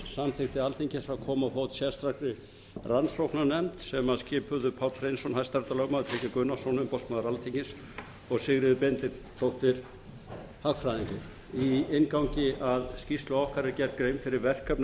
samþykkti alþingi að koma á fót sérstakri rannsóknarnefnd skipuðu páll hreinsson hæstaréttarlögmaður tryggvi gunnarsson umboðsmaður alþingis og sigríður benediktsdóttir hagfræðingur í inngangi að skýrslu okkar er gerð grein fyrir verkefnum